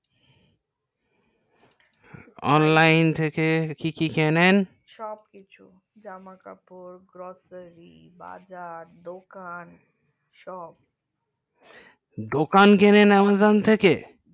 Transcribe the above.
online থেকে কি কি কিনেন সব কিছু জামা কাপড় grocery বাজার দোকান সব দোকান কিনেন online থেকে